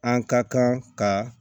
An ka kan ka